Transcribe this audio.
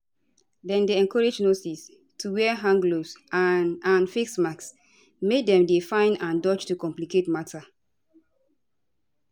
dem encourage nurses to wear hand gloves and and face masks make dem dey fine and dodge to complicate matter